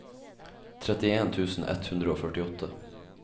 trettien tusen ett hundre og førtiåtte